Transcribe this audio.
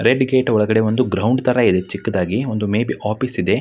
Red gate ಒಳಗಡೆ ಒಂದು ground ತರ ಇದೆ ಚಿಕ್ಕದಾಗಿ ಒಂದು ಮೇ ಬಿ ಆಫೀಸ್ ಇದೆ.